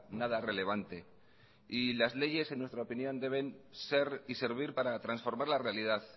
nada relevante y las leyes en nuestra opinión deben ser y servir para transformar la realidad